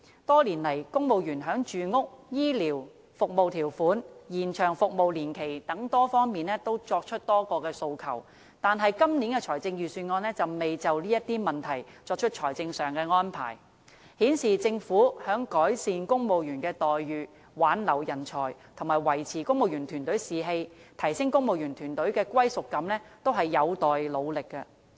多年來，公務員在住屋、醫療、服務條款、和延長服務年期等多方面提出多項訴求，但今年的財政預算案卻未就這些問題作出財政上的安排，顯示政府在改善公務員待遇、挽留人才、維持公務員團隊士氣和提升公務員團隊的歸屬感方面，也是有待努力的。